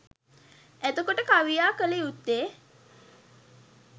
එතකොට කවියා කළ යුත්තේ